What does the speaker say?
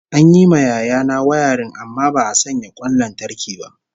An yi ma yaya na wayarin amma ba'a sanya kwan lantarki ba